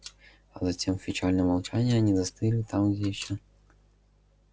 а затем в печальном молчании они застыли там где ещё